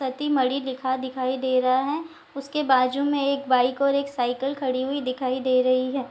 सती मर्ढ़ी लिखा दिखाई दे रहा है उसके बाजू में एक बाइक और एक साइकिल खड़ी हुई दिखाई दे रही है।